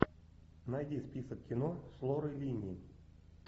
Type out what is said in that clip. найди список кино с лорой линни